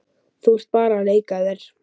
Þú ert bara að leika þér.